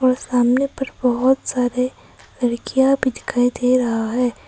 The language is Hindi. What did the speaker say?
सामने पर बहुत सारे लड़कियां भी दिखाई दे रहा है।